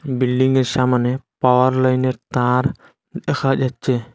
বিল্ডিংয়ের সামোনে পাওয়ার লাইনের তার দেখা যাচ্ছে।